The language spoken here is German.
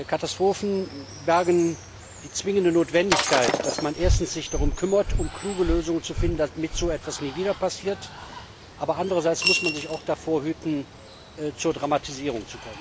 Katastrophen bergen die zwingende Notwendigkeit, dass man sich erstens darum kümmert, um kluge Lösungen zu finden, damit so etwas nie wieder passiert, aber andererseits muss man sich auch davor hüten, zu dramatisieren.